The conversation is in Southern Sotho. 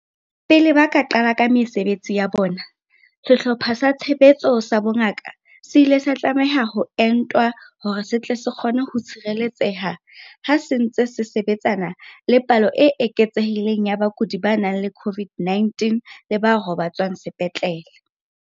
Pele ba ka qala ka mesebetsi ya bona, Sehlopha sa Tshebetso sa Bongaka se ile sa tlameha ho entwa hore se tle se kgone ho tshireletseha ha se ntse se sebe tsana le palo e eketsehileng ya bakudi ba nang le COVID-19 le ba robatswang sepetlele.